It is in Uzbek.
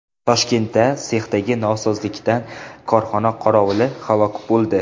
Toshkentda sexdagi nosozlikdan korxona qorovuli halok bo‘ldi.